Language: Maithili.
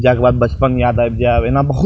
जाय के बाद बचपन याद आईब जाब एना बहुत --